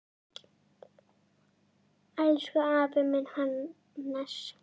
Elsku afi minn, Hannes.